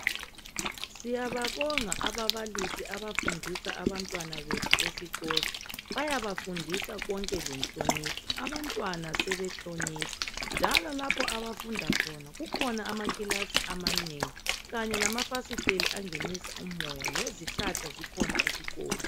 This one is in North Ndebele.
Siyababonga ababalisi abafundisa abantwana bethu esikolo. Bayabafundisa konke lenhlonipho. Abantwana sebehlonipha, njalo lapho abafunda khona, kukhona amakilasi amanengi kanye lamafasitela angenisa umoya. Lezihlahla zikhona esikolo.